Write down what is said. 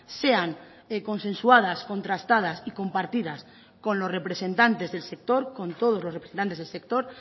sean consensuadas contrastadas y compartidas con los representantes del sector con todos los representantes del sector